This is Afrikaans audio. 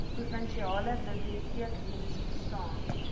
provinsiale biblioteekdiens staan